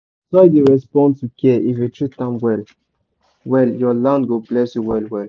soil dey respond to care if you treat am well your land go bless you well well.